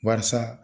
Barisa